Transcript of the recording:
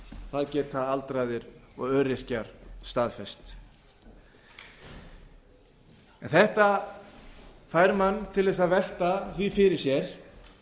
það geta aldraðir og öryrkjar staðfest þetta fær mann til að velta því fyrir sér